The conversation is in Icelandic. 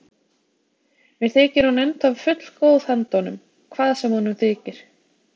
Mér þykir hún ennþá fullgóð handa honum, hvað sem honum þykir.